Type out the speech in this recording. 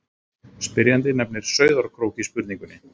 Spyrjandi nefnir Sauðárkrók í spurningunni.